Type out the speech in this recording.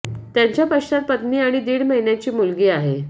त्यांच्या पश्चात पत्नी आणि दीड महिन्याची मुलगी आहे